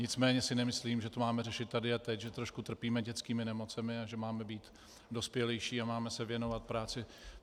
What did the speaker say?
Nicméně si nemyslím, že to máme řešit tady a teď, že trošku trpíme dětskými nemocemi a že máme být dospělejší a máme se věnovat práci.